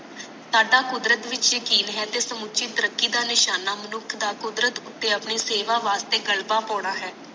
ਤੁਹਾਡਾ ਕੁਦਰਤ ਵਿਚ ਯਕੀਨ ਹੈ ਤੇ ਸਮੁੱਚੀ ਤਰਕੀ ਦਾ ਨਿਸ਼ਾਨਾ ਮਨੁੱਖ ਦਾ ਕੁਦਰਤ ਉਤੇ ਆਪਣੇ ਸੇਵਾ ਵਾਸਤੇ ਗਲਵਾ ਪਾਉਣਾ ਹੈ